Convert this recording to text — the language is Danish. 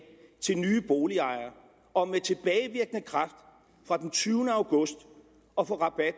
til nye boligejere om med tilbagevirkende kraft fra den tyvende august at få rabat